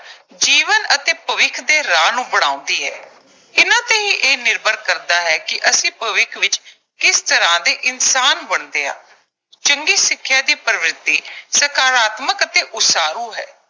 ਜੀਵਨ ਅਤੇ ਭਵਿੱਖ ਦੇ ਰਾਹ ਨੂੰ ਬਣਾਉਂਦੀ ਐ। ਇਨ੍ਹਾਂ ਤੇ ਹੀ ਇਹ ਨਿਰਭਰ ਕਰਦਾ ਹੈ ਕਿ ਅਸੀਂ ਭਵਿੱਖ ਵਿੱਚ ਕਿਸ ਤਰ੍ਹਾਂ ਦੇ ਇਨਸਾਨ ਬਣਦੇ ਆਂ। ਚੰਗੀ ਸਿੱਖਿਆ ਦੀ ਪ੍ਰਵਿਰਤੀ ਸਕਾਰਾਤਮਕ ਅਤੇ ਉਸਾਰੂ ਹੈ।